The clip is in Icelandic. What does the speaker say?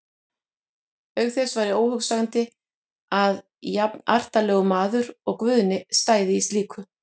Auk þess væri óhugsandi að jafnartarlegur maður og Guðni stæði í slíku.